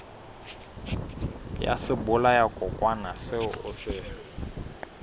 ya sebolayakokwanyana seo o se